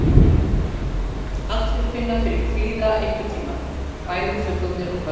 Allir finna fyrir kvíða einhvern tíma, bæði fullorðnir og börn.